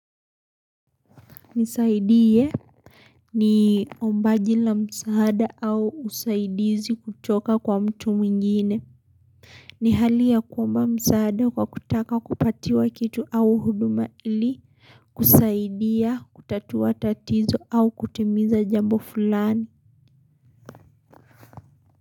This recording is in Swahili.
Nisaidie ni ombaji la msaada au usaidizi kutoka kwa mtu mwingine. Ni hali ya kuomba msaada kwa kutaka kupatiwa kitu au huduma ili, kusaidia, kutatua tatizo au kutimiza jambo fulani.